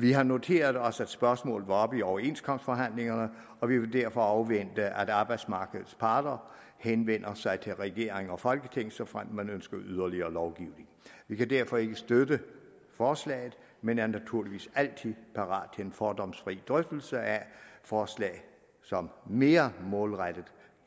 vi har noteret os at spørgsmålet var oppe i overenskomstforhandlingerne og vi vil derfor afvente at arbejdsmarkedets parter henvender sig til regering og folketing såfremt man ønsker yderligere lovgivning vi kan derfor ikke støtte forslaget men er naturligvis altid parat til en fordomsfri drøftelse af forslag som mere målrettet